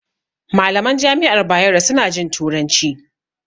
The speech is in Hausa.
Malaman jami'ar Bayero su na jin turanci